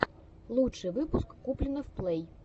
лучший выпуск куплинов плэй